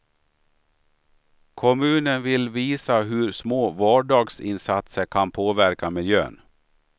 Kommunen vill visa hur små vardagsinsatser kan påverka miljön.